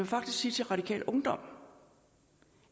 faktisk sige til radikal ungdom